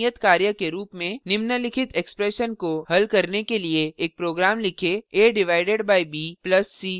निम्नलिखित expression को हल करने के लिए एक program लिखें a divided by b plus c divided by d